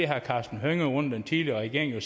herre karsten hønge jo under den tidligere regering at